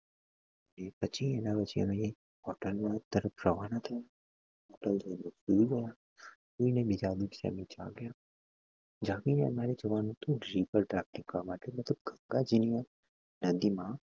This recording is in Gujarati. ને પછી એના પછી અમે hotel તરફ રવાના થયા થઇ ને અમે સુઈ ગયા સુઈ ને બીજા દિવસે અમે જાગ્યા મતલબ ગંગાજી નું